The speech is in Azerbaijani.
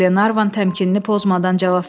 Qlenarvan təmkinini pozmadan cavab verdi.